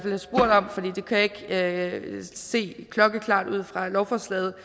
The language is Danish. kan ikke se det klokkeklart ud fra lovforslaget